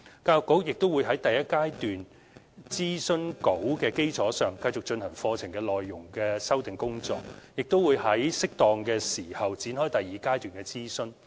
教育局亦會在第一階段諮詢稿的基礎上，繼續進行課程內容修訂的工作，並會在適當的時候展開第二階段的諮詢。